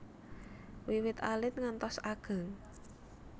Wiwit alit ngantos ageng